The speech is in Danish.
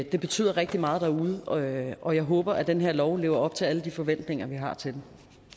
det betyder rigtig meget derude og jeg og jeg håber at den her lov lever op til alle de forventninger vi har til